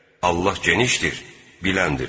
Allah genişdir, biləndir.